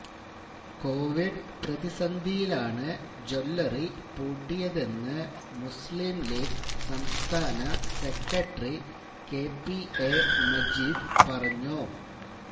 Covid പ്രതിസന്ധിയിലാണ് jewellery പൂട്ടിയതെന്ന് മുസ്ലീം ലീഗ് സംസ്ഥാന secretary K P A Majeed പറഞ്ഞു